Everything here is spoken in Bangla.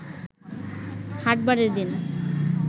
হাটবারের দিন